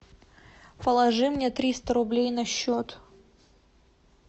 положи мне триста рублей на счет